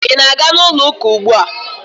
Ị na-aga ụlọ ụka ugbu a?